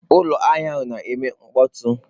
Ụlọ ahịa ahụ na-eme mkpọtụ.